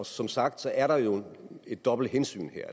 som sagt er der jo et dobbelt hensyn